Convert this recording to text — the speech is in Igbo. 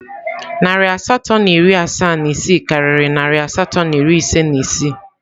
Narị asatọ na iri asaa na isii karịrị narị asatọ na iri ise na isii.